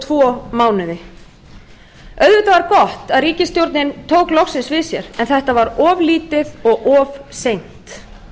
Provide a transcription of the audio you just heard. tvo mánuði auðvitað var gott að ríkisstjórnin tók loksins við sér en þetta var of lítið og of seint